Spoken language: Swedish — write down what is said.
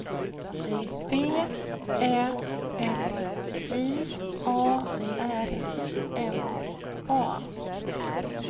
V Ä L J A R N A